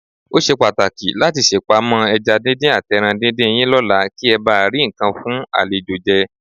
Ó ṣe pàtàkì láti ṣèpamọ́ ẹja díndín àtẹran díndín yín lọ́la kí ẹ bà lé rí nǹkan fún àlejò jẹ.